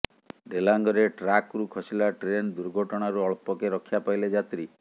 ଡେଲାଙ୍ଗରେ ଟ୍ରାକ୍ରୁ ଖସିଲା ଟ୍ରେନ୍ ଦୁର୍ଘଟଣାରୁ ଅଳ୍ପକେ ରକ୍ଷା ପାଇଲେ ଯାତ୍ରୀ